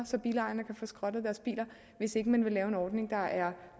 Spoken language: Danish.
så bilejerne kan få skrottet deres biler hvis ikke man vil lave en ordning der er